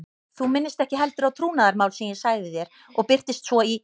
Þú minnist ekki heldur á trúnaðarmál sem ég sagði þér og birtist svo í